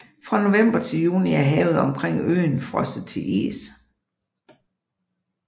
Fra november til juni er havet omkring øen frosset til is